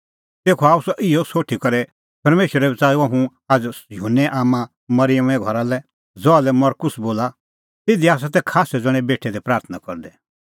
तेखअ आअ सह इहअ सोठी करै परमेशरै बच़ाऊअ हुंह आझ़ युहन्ने आम्मां मरिअमे घरा लै ज़हा लै मरकुस बोला तिधी तै खास्सै ज़ण्हैं बेठै दै प्राथणां करदै